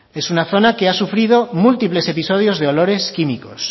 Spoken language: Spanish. es una zona que ha sufrido múltiples episodios de olores químicos